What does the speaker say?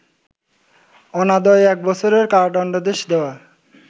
অনাদায়ে এক বছরের কারাদণ্ডাদেশ দেয়া